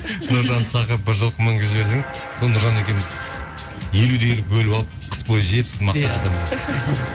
нұржанды шақырып бір жылқы мінгізіп жіберсеңіз сол нұржан екеуіміз елу де елу бөліп алып қыс бойы жеп